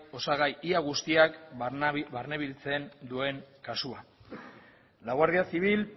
osagai ia guztiak barne biltzen duen kasua la guardia civil